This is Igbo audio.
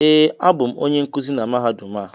Ee, abụ m onye nkuzi na Mahadum a